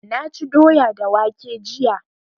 Na ci doya da waƙe jiya